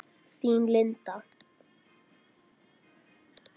Þín, Linda.